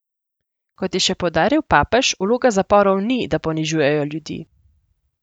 Kot je še poudaril papež, vloga zaporov ni, da ponižujejo ljudi.